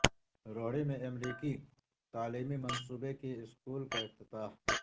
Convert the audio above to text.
روہڑی میں امریکی تعلیمی منصوبے کے اسکول کا افتتاح